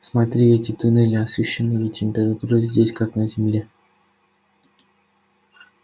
смотри эти туннели освещены и температура здесь как на земле